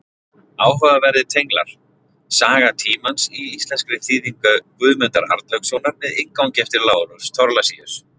Áhugaverðir tenglar: Saga tímans, í íslenskri þýðingu Guðmundar Arnlaugssonar með inngangi eftir Lárus Thorlacius.